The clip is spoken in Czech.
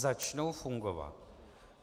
Začnou fungovat?